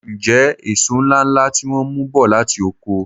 M jẹ èso ńláńlá tí wọ́n mú bọ̀ láti oko.